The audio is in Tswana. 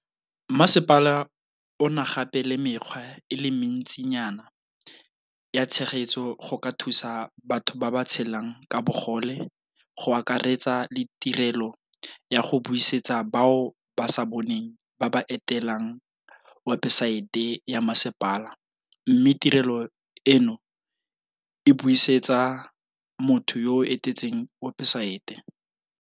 Masepala o na gape le mekgwa e le mentsinyana ya tshegetso go ka thusa batho ba ba tshelang ka bogole go akaretsa le tirelo ya go buisetsa bao ba sa boneng ba ba etelang webesaete ya masepala mme tirelo eno e buisetsa motho yo a etetseng webesaete.